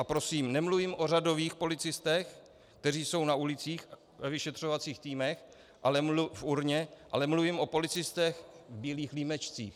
A prosím, nemluvím o řadových policistech, kteří jsou na ulicích, ve vyšetřovacích týmech, v URNA, ale mluvím o policistech v bílých límečcích.